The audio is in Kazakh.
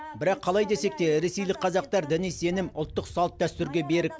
бірақ қалай десек те ресейлік қазақтар діни сенім ұлттық салт дәстүрге берік